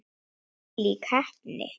Þvílík heppni!